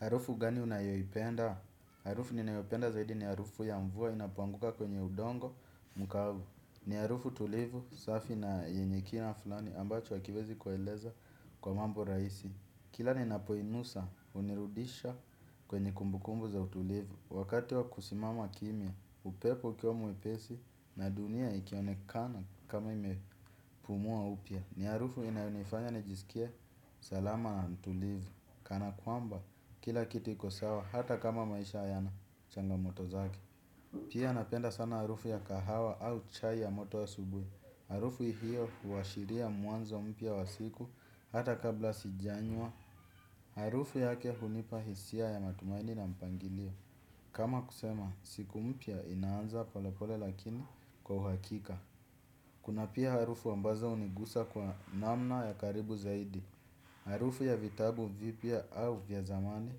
Harufu gani unayoyipenda? Harufu ninayopenda zaidi ni harufu ya mvua inapoanguka kwenye udongo mkavu. Ni harufu tulivu, safi na yenye kina fulani ambacho hakiwezi kueleza kwa mambo rahisi. Kila ninapoinusa, unirudisha kwenye kumbukumbu za utulivu. Wakati wakusimama kimya, upepo ukiwa mwepesi na dunia ikionekana kama imepumua upya. Ni harufu inayonifanya nijisikie salama ntulivu. Kana kwamba, kila kitu iko sawa hata kama maisha yana changamoto zake. Pia, napenda sana harufu ya kahawa au chai ya moto ya asubuhi. Harufu hiyo huwashiria muanzo mpya wa siku, hata kabla sijanywa. Harufu yake hunipa hisia ya matumaini na mpangilio. Kama kusema, siku mpya inaanza pole pole lakini, kwa uhakika. Kuna pia harufu ambazo hunigusa kwa namna ya karibu zaidi. Harufu ya vitabu vipya au vya zamani.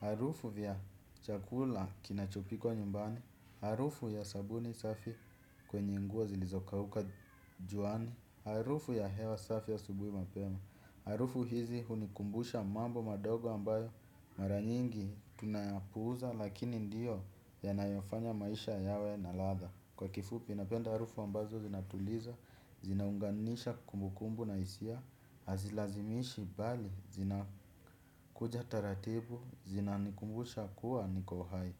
Harufu vya chakula kinachopikwa nyumbani. Harufu ya sabuni safi, kwenye nguo zilizokauka juani. Harufu ya hewa safi asubuhi mapema. Harufu hizi hunikumbusha mambo madogo ambayo mara nyingi tunayapuuza, lakini ndio yanayofanya maisha yawe na ladha. Kwa kifupi, napenda harufu ambazo zinatuliza, zinaunganisha kumbukumbu na hisia. Hazilazimishi bali. Zinakuja taratibu zinanikumbusha kua, niko hai.